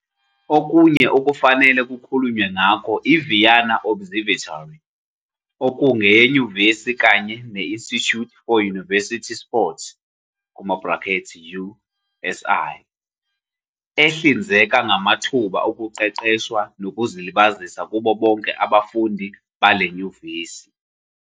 Okunye okufanele kukhulunywe ngakho iVienna Observatory, okungeyenyuvesi, kanye ne-Institute for University Sports, USI, ehlinzeka ngamathuba okuqeqeshwa nokuzilibazisa kubo bonke abafundi bale nyuvesi.